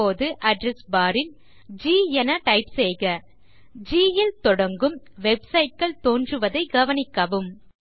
இப்போது அட்ரெஸ் barல் ஜி என டைப் செய்க ஜி ல் தொடங்கும் வெப்சைட் கள் தோன்றுவதைக் கவனிக்கவும்